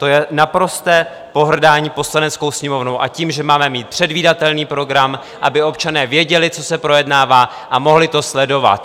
To je naprosté pohrdání Poslaneckou sněmovnou a tím, že máme mít předvídatelný program, aby občané věděli, co se projednává, a mohli to sledovat.